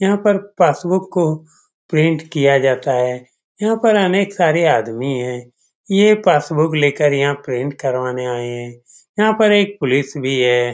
यहाँ पर पासबुक को प्रिंट किया जाता है यहाँ पे अनेक सारे आदमी है ये पासबुक लेकर यहाँ प्रिंट करवाने आए हुए है यहाँ पर एक पुलिस भी है।